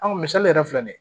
An misali yɛrɛ filɛ nin ye